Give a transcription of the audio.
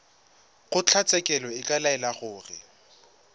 kgotlatshekelo e ka laela gore